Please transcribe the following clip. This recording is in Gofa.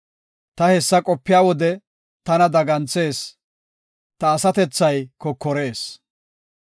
Ta hessa qopiya wode tana daganthees; ta asatethay kokorees.